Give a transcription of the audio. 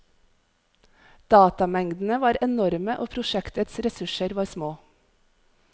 Datamengdene var enorme og prosjektets ressurser var små.